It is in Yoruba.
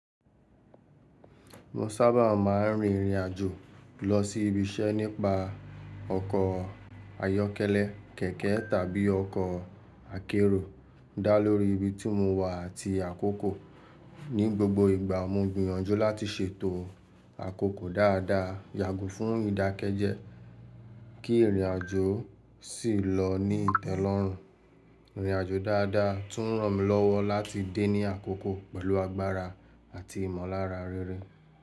Mo sábà máa ń rin ìrìn àjò lọ sí ibi iṣẹ́ nípa ọkọ̀ ayọ́kẹ́lẹ́ kẹ̀kẹ́ tàbí ọkọ̀ akérò dá lórí ibi tí mo wà àti àkókò. Ní gbogbo ìgbà mo gbìyànjú láti ṣètò àkókò dáadáa, yàgù fún ìdákẹ́jẹ́, kí ìrìn àjò sì lọ ní ìtẹ́lọ́rùn. Ìrìn àjò dáadáa tún ràn mí lọ́wọ́ láti dé ní àkókò pẹ̀lú agbára àti ìmọ̀lára rere.